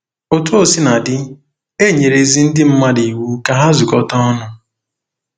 Otú o sina dị, e nyere ezi ndị mmadụ iwu ka ha zukọta ọnụ.